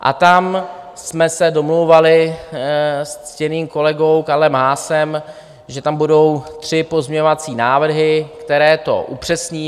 A tam jsme se domlouvali s ctěným kolegou Karlem Haasem, že tam budou tři pozměňovací návrhy, které to upřesní.